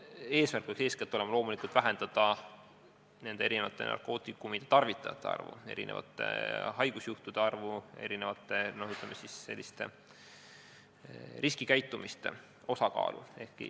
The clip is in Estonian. Eesmärk peaks olema eeskätt vähendada erinevate narkootikumide tarvitajate arvu, haigusjuhtude arvu, riskikäitumise osakaalu.